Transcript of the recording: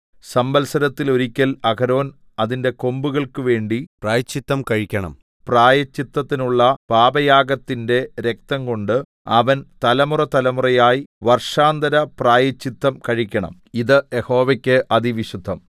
സംവത്സരത്തിൽ ഒരിക്കൽ അഹരോൻ അതിന്റെ കൊമ്പുകൾക്ക് വേണ്ടി പ്രായശ്ചിത്തം കഴിക്കണം പ്രായശ്ചിത്തത്തിനുള്ള പാപയാഗത്തിന്റെ രക്തംകൊണ്ട് അവൻ തലമുറതലമുറയായി വർഷാന്തരപ്രായശ്ചിത്തം കഴിക്കണം ഇത് യഹോവയ്ക്ക് അതിവിശുദ്ധം